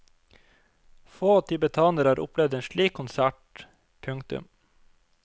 Få tibetanere har opplevd en slik konsert. punktum